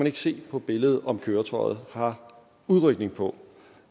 ikke se på billedet om køretøjet har udrykning på